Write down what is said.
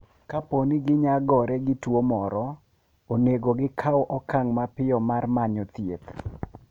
Kapo ni ginyagore gi tuwo moro, onego gikaw okang' mapiyo mar manyo thieth.